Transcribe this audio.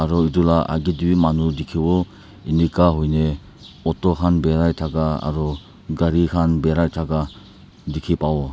aro itu la agey tey bi manu dikhiwo inika huina auto khan birai thaka aro gari khan birai thaka dikhi pawo.